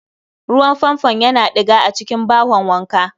Ruwan Fanfon Yana diga a cikin bahon wanka